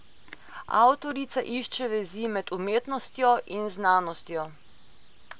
Avtorica išče vezi med umetnostjo in znanostjo.